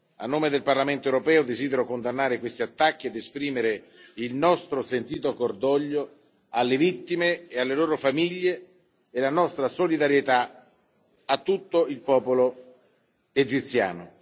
A nome del Parlamento europeo, desidero condannare questi attacchi ed esprimere il nostro sentito cordoglio alle vittime e alle loro famiglie e la nostra solidarietà a tutto il popolo egiziano.